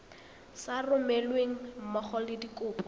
sa romelweng mmogo le dikopo